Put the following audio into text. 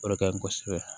O de ka ɲi kosɛbɛ